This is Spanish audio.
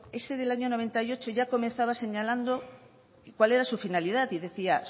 ese del año mil novecientos noventa y ocho ya comenzaba señalando cuál era su finalidad y decía